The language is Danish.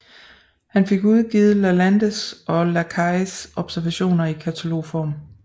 Han fik udgivet Lalandes og Lacailles observationer i katalogform